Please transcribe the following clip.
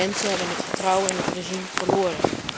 De mensen hebben het vertrouwen in het regime verloren.